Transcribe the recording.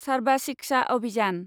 सारबा शिक्षा अभियान